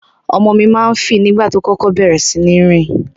Ọmọ mi ma ń fì nígbà tó kókó bẹ̀rẹ̀ síní rìn.